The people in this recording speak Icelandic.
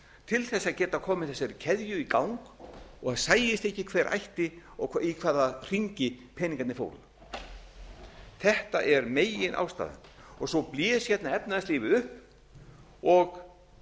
til þess að geta komið þessari keðju í gang og sæist ekki hver ætti og í hvaða hringi peningarnir fóru þetta er meginástæðan svo blés hérna efnahagslífið upp og